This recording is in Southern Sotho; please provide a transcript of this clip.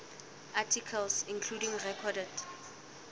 articles including recorded